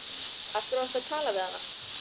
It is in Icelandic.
Af hverju varstu að tala við hana?